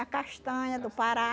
A castanha do Pará.